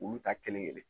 Olu ta kelen kelen